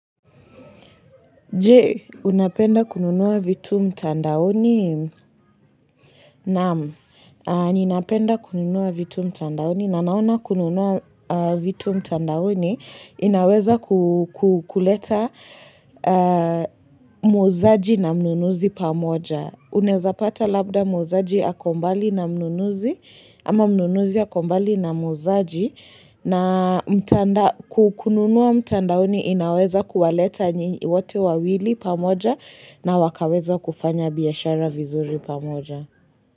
Je, unapenda kununua vitu mtandaoni? Naam, ninapenda kununua vitu mtandaoni. Na naona kununua vitu mtandaoni, inaweza kuleta muuzaji na mnunuzi pamoja. Unaezapata labda muuzaji ako mbali na mnunuzi, ama mnunuzi ako mbali na muuzaji. Na kununua mtandaoni inaweza kuwaleta wote wawili pamoja na wakaweza kufanya biashara vizuri pamoja.